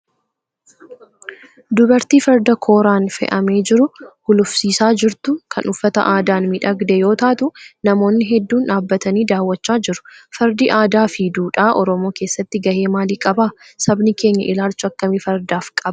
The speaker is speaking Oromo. Dubartii Farda kooraan fe'amee jiru gulufsiisaa jirtu, kan uffata aadaan miidhagee yoo taatu, namoonni hedduun dhaabatanii daawwachaa jiru. Fardi aadaa fi duudhaa Oromoo keessatti gahee maali qaba? Sabni keenya ilaalcha akkamii fardaaf qaba?